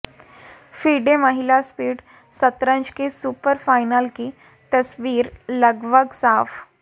FIDE महिला speed शतरंज के सुपर फ़ाइनल की तस्वीर लगभग साफ